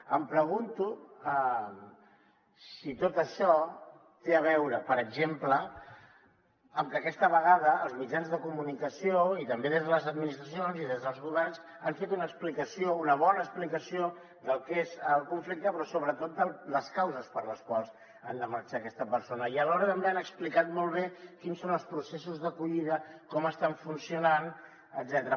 em pregunto si tot això té a veure per exemple amb que aquesta vegada els mitjans de comunicació i també des de les administracions i des dels governs han fet una explicació una bona explicació del que és el conflicte però sobretot de les causes per les quals han de marxar aquestes persones i alhora també han explicat molt bé quins són els processos d’acollida com estan funcionant etcètera